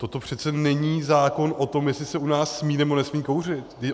Toto přece není zákon o tom, jestli se u nás smí, nebo nesmí kouřit.